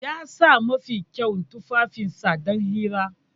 Ya sa mafi kyawun tufafinsa don hirar.